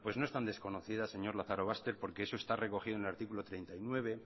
bueno pues no es tan desconocida señor lazarobaster porque eso está recogido en el artículo treinta y nueve